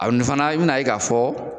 Ani fana i bɛna ye k'a fɔ.